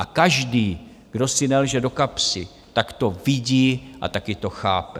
A každý, kdo si nelže do kapsy, tak to vidí a taky to chápe.